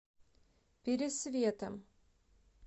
пересветом